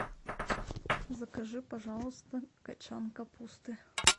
закажи пожалуйста качан капусты